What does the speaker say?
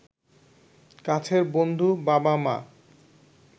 কাছের বন্ধু, বাবা-মা